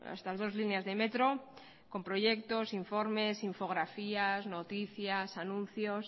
estas dos líneas de metro con proyectos informes infografías noticias anuncios